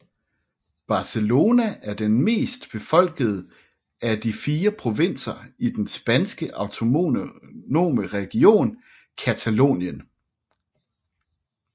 Barcelona er den mest befolkede af de fire provinser i den spanske autonome region Catalonien